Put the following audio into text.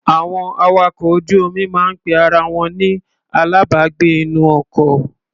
Àwọn awakọ̀ ojú-omi máa ń pe ara wọn ni alábàágbé-inú-ọkọ.